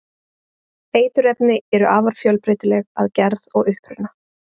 Eiturefni eru afar fjölbreytileg að gerð og uppruna.